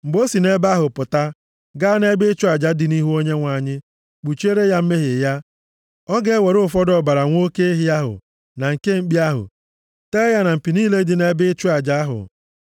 “Mgbe o si nʼebe ahụ pụta, gaa nʼebe ịchụ aja dị nʼihu Onyenwe anyị kpuchiere ya mmehie ya. Ọ ga-ewere ụfọdụ ọbara nwa oke ehi ahụ na nke mkpi ahụ tee ya na mpi niile dị nʼebe ịchụ aja ahụ.